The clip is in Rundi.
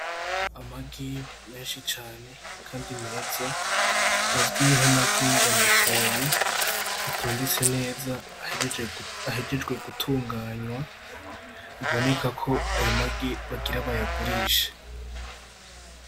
Amagi menshi cane kandi meza , azwi nk'amagi y'amutoyi atondetse neza ahejejwe gutunganywa bibonekako ayo magi bagire bayagurishe.